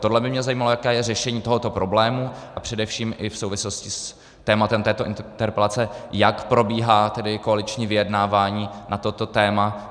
Tohle by mě zajímalo, jaké je řešení tohoto problému, a především i v souvislosti s tématem této interpelace, jak probíhá koaliční vyjednávání na toto téma.